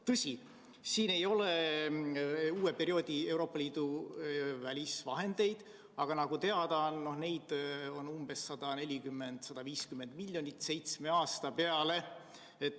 Tõsi, siin ei ole Euroopa Liidu uue perioodi välisvahendeid, aga nagu teada, neid on 140–150 miljonit seitsme aasta peale.